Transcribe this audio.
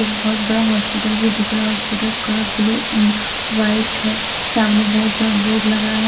एक बहुत बड़ा हॉस्पिटल भी दिख रहा है hospital colour blue and white है सामने बहुत बड़ा बोर्ड लगा है।